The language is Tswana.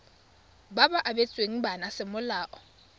ba ba abetsweng bana semolao